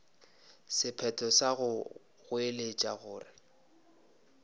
sephetho sa go goeletša gore